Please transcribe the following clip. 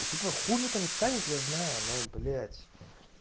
типо хуже то не станет я знаю но блять